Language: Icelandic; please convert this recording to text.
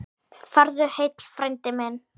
Farðu heill, frændi minn.